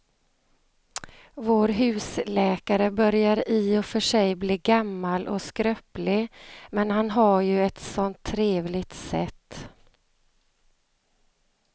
Vår husläkare börjar i och för sig bli gammal och skröplig, men han har ju ett sådant trevligt sätt!